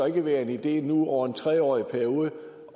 ikke være en idé nu over en tre årig periode